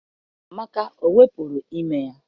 Amaka ewepụrụ ime ya?.